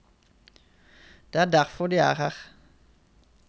Det er derfor de er her.